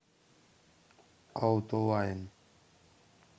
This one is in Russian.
аутолайн